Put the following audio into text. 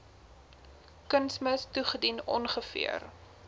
kunsmis toegedien ongeveer